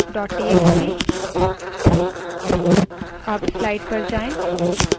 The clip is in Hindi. cat concatfile dot txt